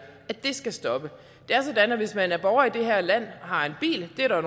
skal stoppe det er sådan at hvis man er borger i det her land og har en bil det er der